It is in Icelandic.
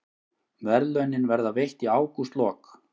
Verðlaunin verða veitt í ágústlok